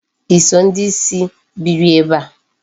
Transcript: I so ndị ìsì biri ebe a?